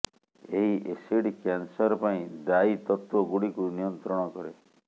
ଏହି acid cancer ପାଇଁ ଦାୟୀ ତତ୍ତ୍ବ ଗୁଡ଼ିକୁ ନିୟନ୍ତ୍ରଣ କରେ